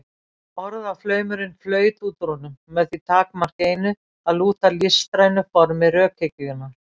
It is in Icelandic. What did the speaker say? Orðaflaumurinn flaut út úr honum með því takmarki einu, að lúta listrænu formi rökhyggjunnar.